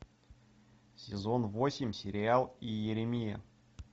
сезон восемь сериал иеремия